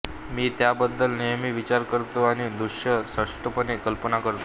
मी त्याबद्दल नेहमी विचार करतो आणि दृश्य स्पष्टपणे कल्पना करतो